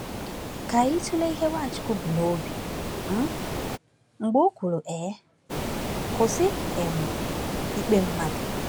Ka anyị tụlee ihe Nwachukwu bu n’obi um mgbe o kwuru: um “Kwụsị um ikpe mmadụ.”